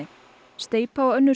steypa og önnur